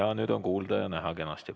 Jaa, nüüd on kuulda ja näha kenasti.